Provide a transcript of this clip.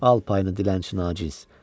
Al payını dilənçi naciz!